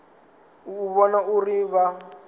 u u vhona uri vha